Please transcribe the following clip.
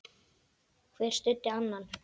Hver studdi annan.